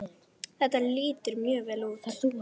Þetta lítur mjög vel út.